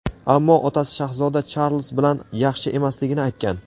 ammo otasi shahzoda Charlz bilan yaxshi emasligini aytgan.